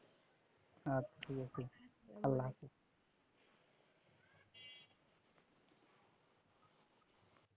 আচ্ছা আল্লাহ হাফেজ